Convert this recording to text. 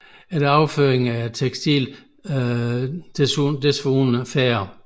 Efter overføringen er tekstilet desuden færdigt